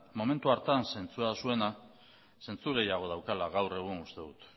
momentu hartan zentsua zuena zentsu gehiago daukala gaur egun uste dut